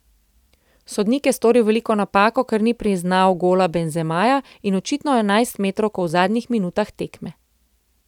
Sodnik je storil veliko napako, ker ni priznal gola Benzemaja in očitno enajstmetrovko v zadnjih minutah tekme.